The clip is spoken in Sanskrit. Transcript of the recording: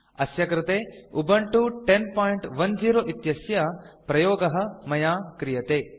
अस्य कृते उबुन्तु 1010 इत्यस्य प्रयोगः मया क्रियते